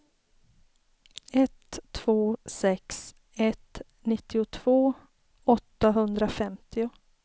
ett två sex ett nittiotvå åttahundrafemtio